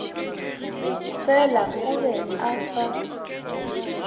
fela o be a sa